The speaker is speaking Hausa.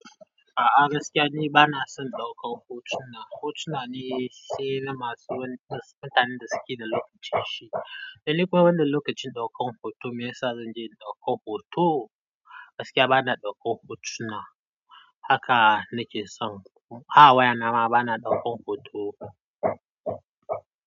A'a gaskiya ni bana son ɗaukar hotuna. Hotuna ne sai na masu wani tsananin da suke da lokacinsu. Ae nifa wannan lokacin ɗaukar hoto me yasa zanje in ɗauka hoto. Gaskiya bana ɗaukar hotuna haka nake son. A wayana ma bana ɗaukar hoto.